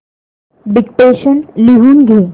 dictation लिहून घे